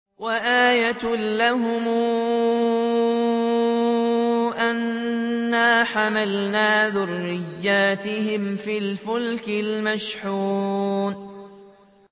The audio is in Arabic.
وَآيَةٌ لَّهُمْ أَنَّا حَمَلْنَا ذُرِّيَّتَهُمْ فِي الْفُلْكِ الْمَشْحُونِ